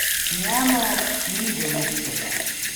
Njemu ni do luksuza.